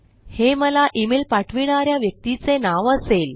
हे मला इमेल पाठविणा या व्यक्तीचे नाव असेल